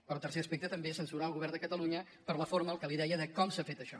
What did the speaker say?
però tercer aspecte també censurar el govern de catalunya per la forma el que li deia com s’ha fet això